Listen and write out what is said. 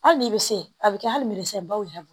Hali n'i bɛ se a bɛ kɛ hali merisenbaw yɛrɛ bolo